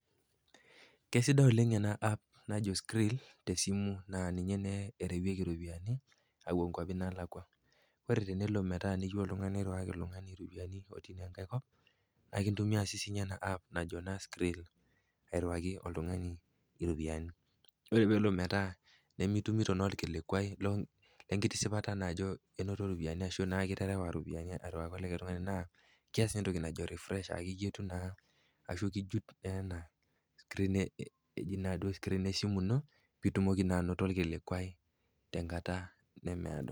Kesidai oleng ena app naji Skrill tesimu naa ninye naa ninye ereweki iropiani awuo inkuapi naalakwa. Kore metaa neyeu oltung'ani nirewaki oltung'ani iropiani otii naa enkai kop, naake eitumia naa sininye ena app najo naa skrill airuaki oltung'ani iropiani. Ore pelo metaa nimitumito naa olkilikuai lenkitisipata naa ajo ainoto iropiani ashu naa iterewa iropiani arewaki likai tung'ani naa keas naa entoki najo refresh a iyetuu na ashu ijut ena screen duo esimu ino piitumoki naa ainoto olkilikuai tenkata nemeado.